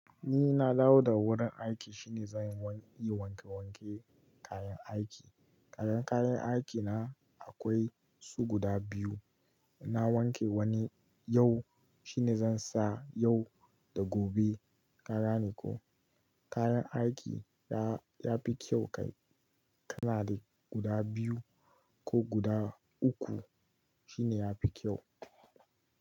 Ni na dawo daga wurin aiki shine zan yi wanke wanke kayan aiki. Kayan kayan aiki na akwai su guda biyu. Na wanke wani yau shine zan sa yau da gobe. Ka gane ko kayan aiki ya fi kyau kai kana da guda biyu ko guda uku shine yafi kyau.